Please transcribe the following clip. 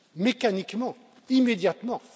mécaniquement, immédiatement.